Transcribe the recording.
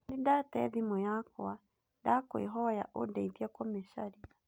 Nĩ ndaate thimũ yakwa, ndakũĩhoya ũndeithie kũmĩcaria.